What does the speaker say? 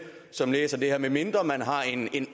som læser det her medmindre man har en